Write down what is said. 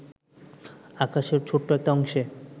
আকাশের ছোট্ট একটা অংশে